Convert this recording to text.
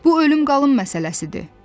Bu ölüm-qalım məsələsidir.